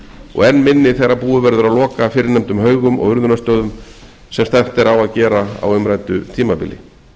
og enn minni þegar búið verður að loka fyrrnefndum haugum og urðunarstöðum sem stefnt er á að gera á umræddu tímabili